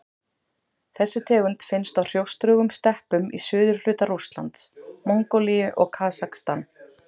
Þessi tegund finnst á hrjóstrugum steppum í suðurhluta Rússlands, Mongólíu og Kasakstan.